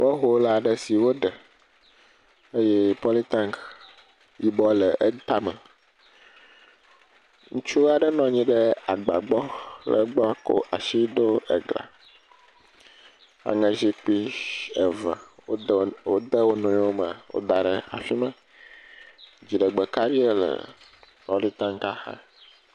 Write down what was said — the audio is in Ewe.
Bɔhol aɖe si woɖe eye pɔlitanki yibɔ le etame ŋutsu aɖe nɔ anyi ɖe agba gbɔ kɔ asi ɖo be ga aŋezikpui eve wode wonɔewo me kɔ daɖe ɖe afima dziɖegbe kaɖi le pɔlitankia xa